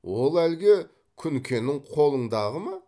ол әлгі күнкенің қолыңдағы ма